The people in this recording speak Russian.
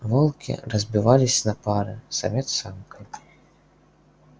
волки разбивались на пары самец с самкой